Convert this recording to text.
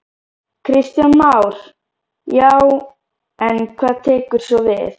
Kristján Már: Já, en hvað tekur svo við?